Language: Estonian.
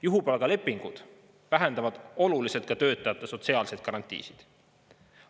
Juhupalgalepingud vähendavad oluliselt ka töötajate sotsiaalseid garantiisid.